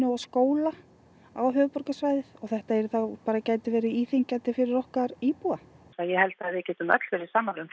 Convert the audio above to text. og skóla á höfuðborgarsvæðið og þetta bara gæti verið íþyngjandi fyrir okkar íbúa en ég held að við getum öll verið sammála um